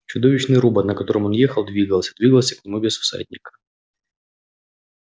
чудовищный робот на котором он ехал двигался двигался к нему без всадника